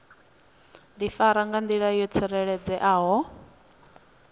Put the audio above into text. difara nga ndila yo tsireledzeaho